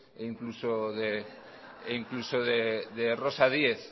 e incluso de rosa díez